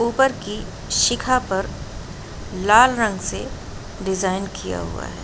ऊपर की शिखा पर लाल रंग से डिज़ाइन किया हुआ हैं।